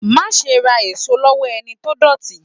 Máa ṣe ra èso lowo ẹni tó dọ̀tí.